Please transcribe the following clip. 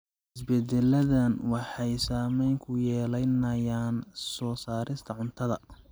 Isbeddeladan waxay saameyn ku yeelanayaan soo saarista cuntada.